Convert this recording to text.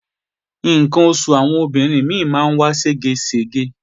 Ǹkan oṣù àwọn obìnrin mí ò kí ń dà dédé